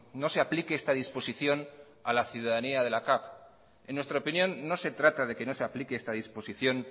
no se aplique esta disposición a la ciudadanía de la capv en nuestra opinión no se trata de que no se aplique esta disposición